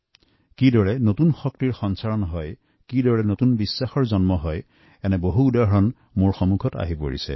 কেনেদৰে নতুন উদ্যম আহিছে আত্মবিশ্বাসেৰে পৰিপূৰ্ণ হৈ উঠিছে তাৰ এটি উদাহৰণ আমাৰ সন্মুখলৈ আহিব